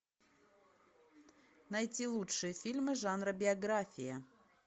найти лучшие фильмы жанра биография